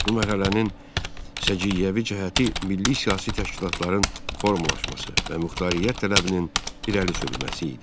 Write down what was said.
Bu mərhələnin səciyyəvi cəhəti milli siyasi təşkilatların formalaşması və muxtariyyət tələbinin irəli sürülməsi idi.